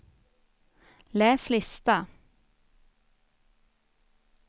läs lista